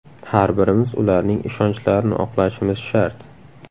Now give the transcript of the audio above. Har birimiz ularning ishonchlarini oqlashimiz shart!